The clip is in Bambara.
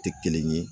Tɛ kelen ye